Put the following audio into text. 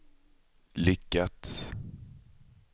lyckats